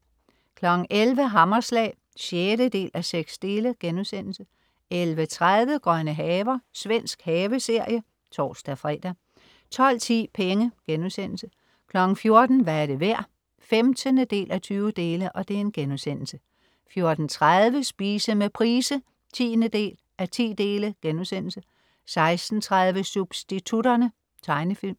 11.00 Hammerslag 6:6* 11.30 Grønne haver. Svensk haveserie (tors-fre) 12.10 Penge* 14.00 Hvad er det værd? 15:20* 14.30 Spise med Price 10:10* 16.30 Substitutterne. Tegnefilm